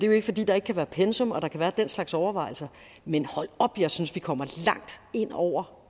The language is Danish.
jo ikke fordi der ikke kan være pensum og der kan være den slags overvejelser men hold op jeg synes vi kommer langt ind over